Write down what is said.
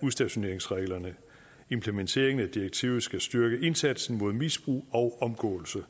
udstationeringsreglerne implementeringen af direktivet skal styrke indsatsen mod misbrug og omgåelse